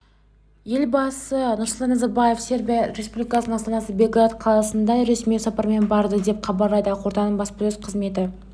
елбасы нұрсұлтан назарбаев сербия республикасының астанасы белград қаласына ресми сапармен барды деп хабарлайды ақорданың баспасөз қызметі